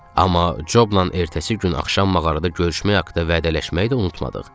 Amma Jobnan ertəsi gün axşam mağarada görüşmək haqda vədələşməyi də unutmadıq.